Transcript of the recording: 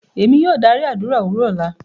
Emi yóò dari adura owurọ lọla.